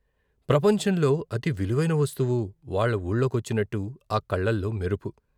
ప్రపంచంలో అతి విలువైన వస్తువు వాళ్ళ వూళ్ళోకొచ్చినట్టు ఆ కళ్ళలో మెరుపు.